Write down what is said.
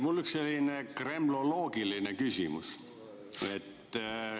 Mul on üks selline kremloloogiline küsimus.